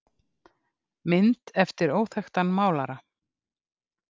Mynd eftir óþekktan málara.